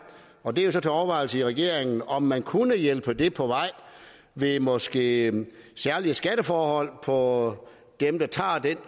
og det er jo så til overvejelse i regeringen om man kunne hjælpe det på vej ved måske at give særlige skatteforhold for dem der tager den